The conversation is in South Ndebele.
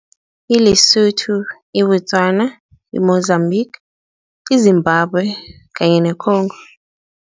ILesotho, iBostwana, iMozambique, iZimbambwe kanye neCongo.